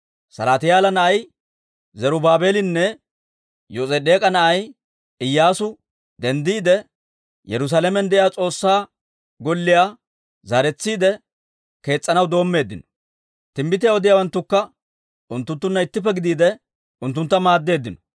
Salaatiyaala na'ay Zarub-baabeelinne Yos'edeek'a na'ay Iyyaasu denddiide, Yerusaalamen de'iyaa S'oossaa Golliyaa zaaretsiide kees's'anaw doommeeddino. Timbbitiyaa odiyaawanttukka unttunttunna ittippe gidiide, unttuntta maaddeeddino.